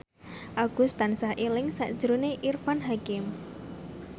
Agus tansah eling sakjroning Irfan Hakim